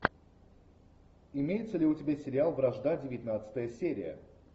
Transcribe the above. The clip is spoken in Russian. имеется ли у тебя сериал вражда девятнадцатая серия